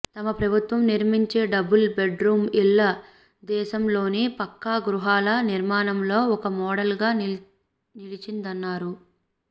తమ ప్రభుత్వం నిర్మించే డబుల్ బెడ్రూమ్ ఇళ్లు దేశంలోనే పక్కా గృహాల నిర్మాణంలో ఒక మాడల్గా నిలిచిందన్నారు